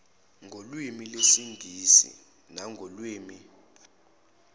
ngolwimi lwesingisi nangolwimi